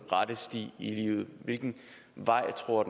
rette sti i livet hvilken vej tror